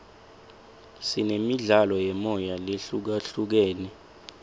sinemidlalo yemoya lehlukahlukene